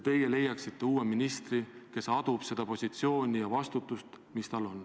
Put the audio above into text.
Teie leiaksite uue ministri, kes adub seda positsiooni ja vastutust, mis tal on.